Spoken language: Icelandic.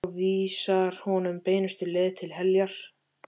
Og vísar honum beinustu leið til heljar.